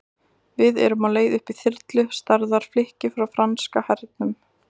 Við erum á leið upp í þyrlu, stærðar flikki frá franska hernum.